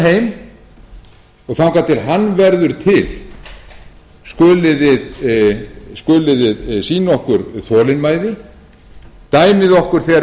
heim og þangað til hann verður til skulið þið sýna okkur þolinmæði dæmið okkur þegar